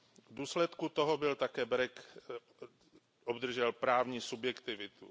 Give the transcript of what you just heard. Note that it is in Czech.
V důsledku toho by také BEREC obdržel právní subjektivitu.